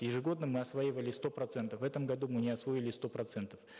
ежегодно мы осваивали сто процентов в этом году мы не освоили сто процентов